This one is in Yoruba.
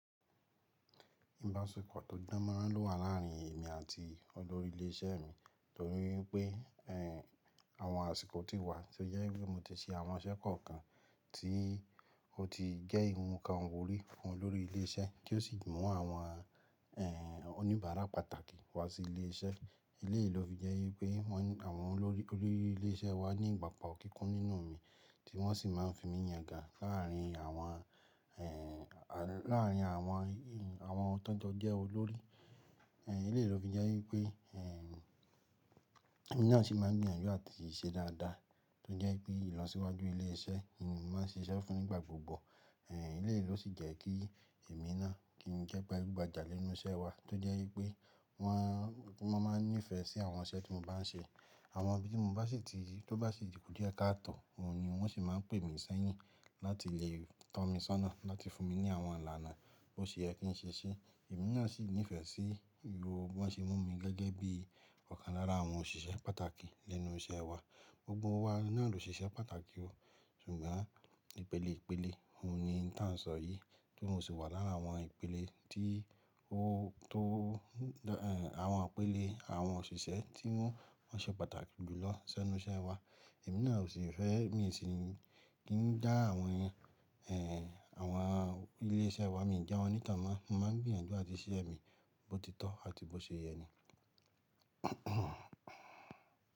Ìbáṣepọ̀ tó danmáran lo wà láàrin èmi àti olórí ilé iṣẹ́ mi, torí pé ẹ́ àwọn àsìkò ti wà tí ó jẹ́ pé mo ti ṣe àwọn iṣẹ́ kọ̀ọ̀kan tí ó ti jẹ́ nkan wurí fún olórí ilé iṣẹ́, ti ó sì mú àwọn ẹ́ oníbàárà pàtàkì wá sí ilé iṣẹ́. Lẹ́yi ló fi jẹ́ pé wọn àwọn olórí ilé iṣẹ́ wa ní ìgbàpa kíkún nínú mi tí wọ́n sì máa n fi mí yanga láàrin àwọn ẹ́ à láàrin àwọn àwọn ti won jọ jẹ olórí. Ẹ̀léyìí ló fi jẹ́ wípé ẹ́, èmi náà sì máa n gbìyànjú àti ṣe dáadáa tó jẹ́ pé ìlọsíwájú ilé iṣẹ́ ni mo máa n ṣe iṣẹ́ fún nígbà gbogbo. Ẹ̀léyìí ló sì jẹ́ kí èmi náà kí n jẹ́ gbájugbajà lẹ́nu iṣẹ́ wa tó jẹ́ wípé wọn, wọ́n máa n nífẹ̀ẹ́ sí àwọn iṣẹ́ tí mo bá n ṣe. Àwọn ibi tí mo bá sì ti tó bá sì ti ku díẹ̀ ká tọ̀, oun ni wọ́n sì máa n pè mi sẹ́yìn láti lè tọ́ mi sọ́nà láti fún mi ní àwọn ìlànà tó ṣe é kí n ṣe ṣí. Èmi náà sì nífẹ̀ẹ́ sí ìhòó wọ́n ṣe mú mi gẹ́gẹ́ bí ọ̀kan lára àwọn òṣìṣẹ́ pàtàkì lẹ́nu iṣẹ́ wa. Gbogbo wa náà ló ṣe iṣẹ́ pàtàkì o, ṣùgbọ́n ìpele ìpele, òun ni oun tan sọ yìí, kí n sì wà lára àwọn ìpele tí ó tó ẹ́ àwọn ìpele àwọn òṣìṣẹ́ tí wọ́n, wọ́n ṣe pàtàkì jù lọ lẹ́nu iṣẹ́ wa. Èmi náà ò sì fẹ́ mi sì kí n já àwọn ẹ́ àwọn ilé iṣẹ́ wa, mi ò já wọn ní tànmán, mo máa n gbìyànjú àti ṣe ise mí bó ti tọ́ àti bó ṣe yẹ ni.